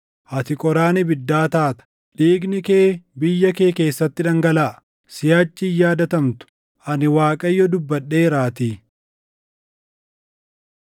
Ati qoraan ibiddaa taata; dhiigni kee biyya kee keessatti dhangalaʼa; siʼachi hin yaadatamtu; ani Waaqayyo dubbadheeraatii.’ ”